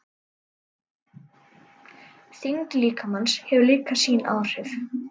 Þyngd líkamans hefur líka sín áhrif.